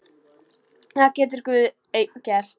Það getur Guð einn gert.